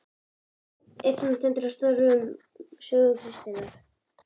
inn sem einn af stórviðburðunum í sögu kristninnar.